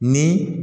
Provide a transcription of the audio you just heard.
Ni